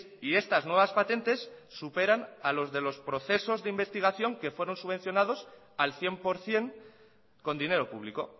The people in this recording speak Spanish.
y estas nuevas patentes superan a los de los procesos de investigación al cien por ciento con dinero público